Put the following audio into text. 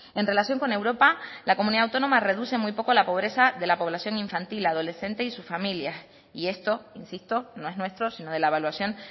en relación con europa la comunidad autónoma reduce muy poco la pobreza de la población infantil adolescente y sus familias y esto insisto no es nuestro sino de la evaluación